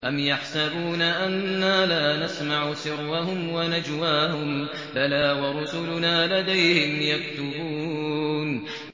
أَمْ يَحْسَبُونَ أَنَّا لَا نَسْمَعُ سِرَّهُمْ وَنَجْوَاهُم ۚ بَلَىٰ وَرُسُلُنَا لَدَيْهِمْ يَكْتُبُونَ